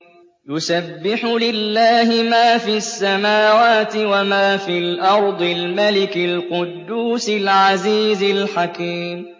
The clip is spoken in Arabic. يُسَبِّحُ لِلَّهِ مَا فِي السَّمَاوَاتِ وَمَا فِي الْأَرْضِ الْمَلِكِ الْقُدُّوسِ الْعَزِيزِ الْحَكِيمِ